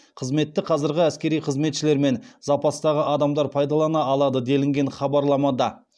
қызметті қазіргі әскери қызметшілер мен запастағы адамдар пайдалана алады делінген хабарламада